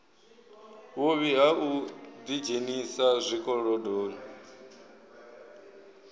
vhuvhi ha u ḓidzhenisa zwikolodoni